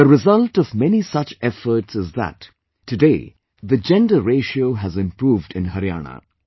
The result of many such efforts is that today the Gender Ratio has improved in Haryana